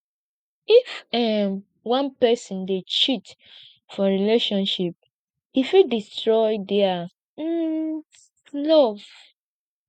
if um one pesin dey cheat for relationship e fit destroy dia um love